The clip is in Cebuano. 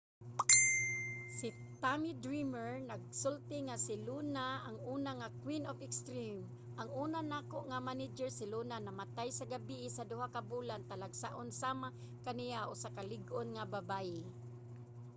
si tommy dreamer nagsulti nga si luna ang una nga queen of extreme. ang una nako nga manager. si luna namatay sa gabii sa duha ka bulan. talagsaon sama kaniya. usa ka lig-on nga babaye.